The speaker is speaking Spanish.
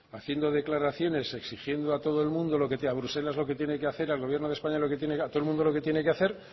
haciendo declaraciones exigiendo a todo el mundo a bruselas lo que tiene que hacer al gobierno de españa lo que tiene que hacer a todo el mundo lo que tiene hacer